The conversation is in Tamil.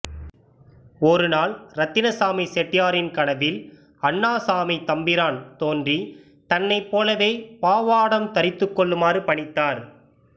ஒரு நாள் இரத்தினசாமி செட்டியாரின் கனவில் அண்ணாசாமித் தம்பிரான் தோன்றி தன்னைப்போலவே பாவாடம் தரித்துக் கொள்ளுமாறு பணித்தார்